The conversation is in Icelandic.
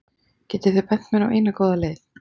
Getið þið bent mér á eina góða leið?